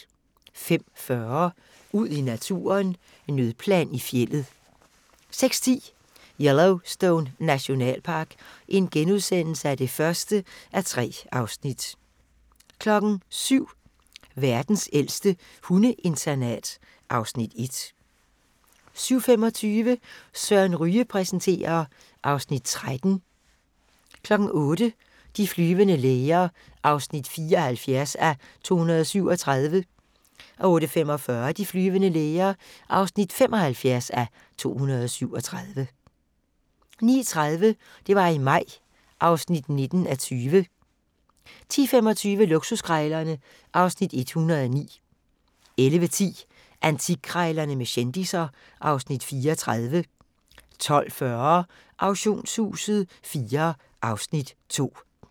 05:40: Ud i naturen: Nødplan i fjeldet 06:10: Yellowstone Nationalpark (1:3)* 07:00: Verdens ældste hundeinternat (Afs. 1) 07:25: Søren Ryge præsenterer (Afs. 13) 08:00: De flyvende læger (74:237) 08:45: De flyvende læger (75:237) 09:30: Det var i maj (19:20) 10:25: Luksuskrejlerne (Afs. 109) 11:10: Antikkrejlerne med kendisser (Afs. 34) 12:40: Auktionshuset IV (Afs. 2)